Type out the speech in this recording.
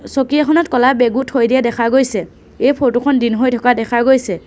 চকী এখনত ক'লা বেগও থৈ দিয়া দেখা গৈছে এই ফটো খন দিন হৈ থকা দেখা গৈছে।